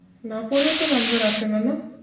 না পড়েও তো number আসেনা না?